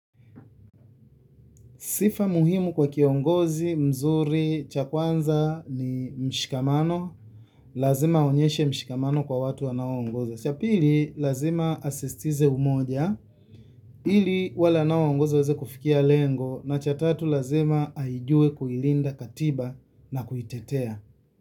Sifa muhimu kwa kiongozi, mzuri, cha kwanza ni mshikamano, lazima aonyeshe mshikamano kwa watu wanao ongoza. Cha pili lazima asisitize umoja, ili wale wanao ongoza waeze kufikia lengo, na cha tatu lazima aijue kuilinda katiba na kuitetea.